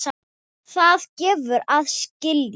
Það gefur að skilja.